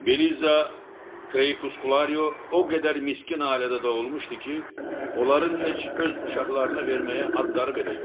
Beliza Krepuskularo o qədər miskin ailədə doğulmuşdu ki, onların heç öz uşaqlarına verməyə adları belə yox idi.